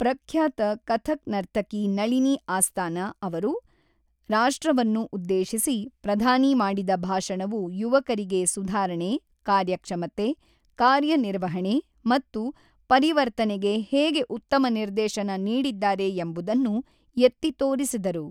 ಪ್ರಖ್ಯಾತ ಕಥಕ್ ನರ್ತಕಿ ನಳಿನಿ ಅಸ್ತಾನ ಅವರು ರಾಷ್ಟ್ರವನ್ನು ಉದ್ದೇಶಿಸಿ ಪ್ರಧಾನಿ ಮಾಡಿದ ಭಾಷಣವು ಯುವಕರಿಗೆ ಸುಧಾರಣೆ, ಕಾರ್ಯಕ್ಷಮತೆ ಕಾರ್ಯ ನಿರ್ವಹಣೆ ಮತ್ತು ಪರಿವರ್ತನೆಗೆ ಹೇಗೆ ಉತ್ತಮ ನಿರ್ದೇಶನ ನೀಡಿದ್ದಾರೆ ಎಂಬುದನ್ನು ಎತ್ತಿ ತೋರಿಸಿದರು.